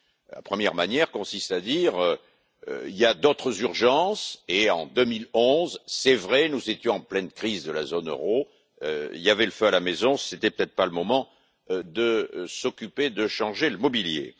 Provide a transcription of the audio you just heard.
La première manière consiste à dire Il y a d'autres urgences et, en 2011, c'est vrai, nous étions en pleine crise de la zone euro, il y avait le feu à la maison, ce n'était peut être pas le moment de s'occuper de changer le mobilier.